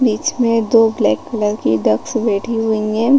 बीच में दो black colour की डक्स बैठी हुई है।